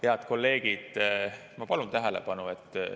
Head kolleegid, ma palun tähelepanu!